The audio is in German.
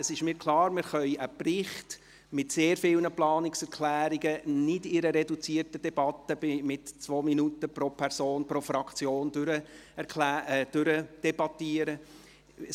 Es ist mir klar, dass wir einen Bericht mit sehr vielen Planungserklärungen nicht in reduzierter Debatte mit 2 Minuten Redezeit pro Person, pro Fraktion durchdebattieren können.